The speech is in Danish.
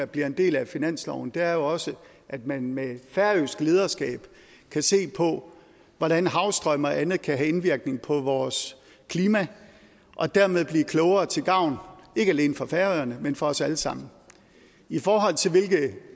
bliver en del af finansloven er jo også at man med et færøsk lederskab kan se på hvordan havstrømme og andet kan have indvirkning på vores klima og dermed blive klogere til gavn ikke alene for færøerne men for os alle sammen i forhold til hvilke